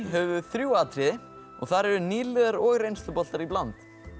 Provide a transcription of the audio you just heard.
höfum við þrjú atriði og þar eru nýliðar og reynsluboltar í bland